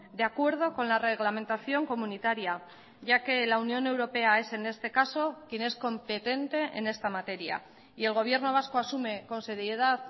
de acuerdo con la reglamentación comunitaria ya que la unión europea es en este caso quien es competente en esta materia y el gobierno vasco asume con seriedad